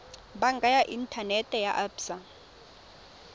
banka ya inthanete ya absa